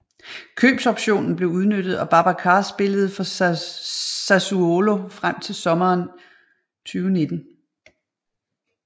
Købsoptionen blev udnyttet og Babacar spillede for Sassuolo frem til sommmeren 2019